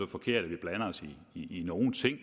forkert at vi blander os i nogen ting